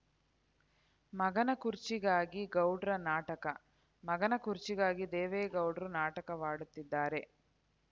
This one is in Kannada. ಮಗನ ಕುರ್ಚಿಗಾಗಿ ಗೌಡ್ರ ನಾಟಕ ಮಗನ ಕುರ್ಚಿಗಾಗಿ ದೇವೇಗೌಡ್ರು ನಾಟಕವಾಡುತ್ತಿದ್ದಾರೆ